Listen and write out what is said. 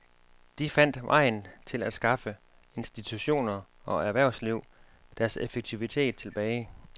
De fandt vejen til at skaffe institutioner og erhvervsliv deres effektivitet tilbage.